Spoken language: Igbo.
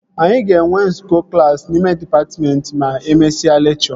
Anyị ga-enwe nzukọ klassi n'ime dịpatmentị ma e mesịa lekchọ